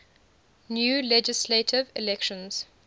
new legislative elections